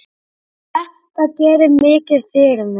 Þetta gerir mikið fyrir mig.